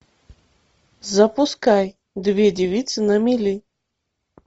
запускай две девицы на мели